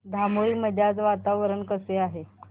धामोरी मध्ये आज वातावरण कसे आहे